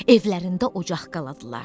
Evlərində ocaq qaladılar.